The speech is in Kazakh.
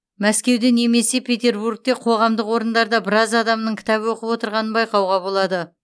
мәскеуде немесе петербургте қоғамдық орындарда біраз адамның кітап оқып отырғанын байқауға болады